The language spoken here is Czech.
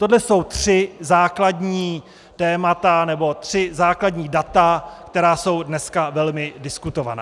Tohle jsou tři základní témata, nebo tři základní data, která jsou dneska velmi diskutovaná.